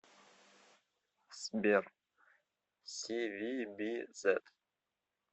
сбер сивибизет